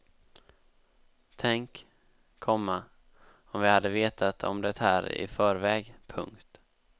Tänk, komma om vi hade vetat om det här i förväg. punkt